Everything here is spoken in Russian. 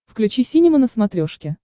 включи синема на смотрешке